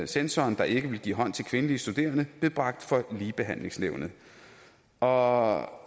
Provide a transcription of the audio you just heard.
censoren der ikke ville give hånd til kvindelige studerende blev bragt for ligebehandlingsnævnet og